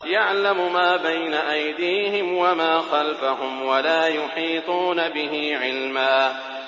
يَعْلَمُ مَا بَيْنَ أَيْدِيهِمْ وَمَا خَلْفَهُمْ وَلَا يُحِيطُونَ بِهِ عِلْمًا